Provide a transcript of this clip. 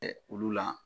Olu la